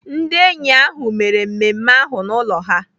Ndị enyi ahụ mere mmemme ahụ n'ụlọ ha.